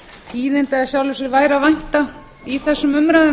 tíðinda væri í sjálfu sér að vænta í þessum umræðum